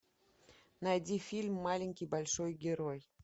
найди фильм маленький большой герой